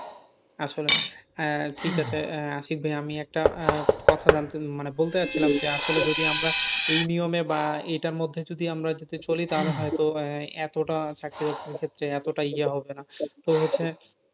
আসলে আহ ঠিক আছে আশিক ভাইয়া আমি একটা কথা জানতে, মানে বলতে চাইছিলাম যে আসলে যদি আমরা, বা এটার মধ্যে যদি আমরা চলি তাহলে হয়তো এতটা চাকরির ক্ষেত্রে এতটা ইয়ে হবে না,